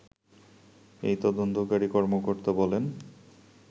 এই তদন্তকারী কর্মকর্তা বলেন